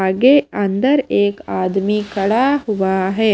आगे अंदर एक आदमी खड़ा हुआ है।